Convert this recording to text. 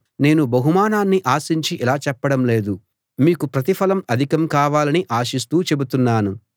నేను బహుమానాన్ని ఆశించి ఇలా చెప్పడం లేదు మీకు ప్రతిఫలం అధికం కావాలని ఆశిస్తూ చెబుతున్నాను